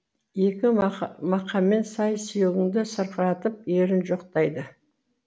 ескі мақаммен сай сүйегіңді сырқыратып ерін жоқтайды